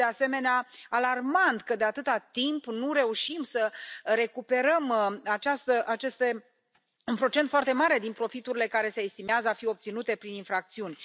Este, de asemenea, alarmant că, de atâta timp, nu reușim să recuperăm un procent foarte mare din profiturile care se estimează a fi obținute prin infracțiuni.